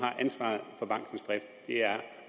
har ansvaret for bankens drift det er